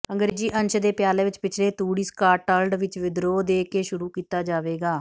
ਅੰਗਰੇਜ਼ੀ ਅੰਸ਼ ਦੇ ਪਿਆਲੇ ਵਿਚ ਪਿਛਲੇ ਤੂੜੀ ਸਕਾਟਲਡ ਵਿਚ ਵਿਦਰੋਹ ਦੇ ਕੇ ਸ਼ੁਰੂ ਕੀਤਾ ਜਾਵੇਗਾ